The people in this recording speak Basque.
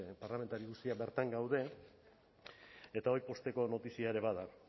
parlamentari guztiak bertan gaude eta hori pozteko notizia ere bada